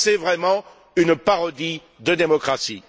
C'est vraiment une parodie de démocratie.